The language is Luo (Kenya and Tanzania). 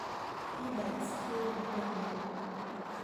E-bikes chiwo yo maber mar wuoth.